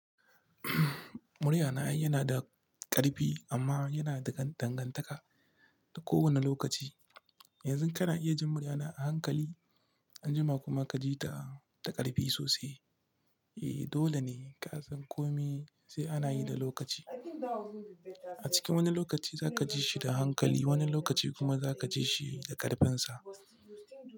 Muryana yana da ƙarfi amma yana da dangantaka da kowane lokaci. Yanzu kana iya jin muryana a hankali anjima kuma ka ji ta da ƙarfi sosai. Eh dole ne ka san komai sai ana yi da lokaci. A cikin wani lokaci za ka ji shi da hankali wani lokaci kuma za ka ji shi da ƙarfinsa.